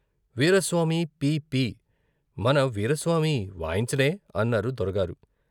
వీరాస్వామి పీ పీ మన వీరాస్వామి వాయించడే? అన్నారు దొరగారు.